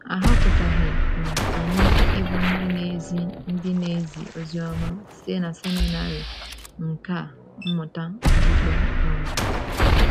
A họpụtaghị um anyị ịbụ ndị na-ezi ndị na-ezi oziọma site na seminarị nkà mmụta okpukpe um.